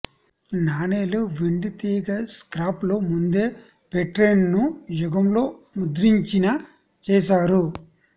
నాణేలు వెండి తీగ స్క్రాప్లు ముందే పెట్రైన్ను యుగంలో ముద్రించిన చేశారు